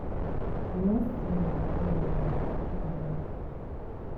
di worst thing i go do now na to think about past.